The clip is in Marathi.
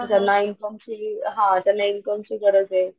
ज्यांना इनकम ची हा ज्यांना इनकम ची गरजे.